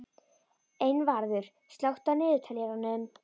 Einvarður, slökktu á niðurteljaranum.